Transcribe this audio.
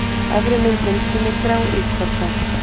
Efri myndin sýnir gráíkorna.